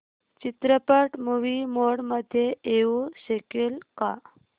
चित्रपट movie mode मध्ये येऊ शकेल का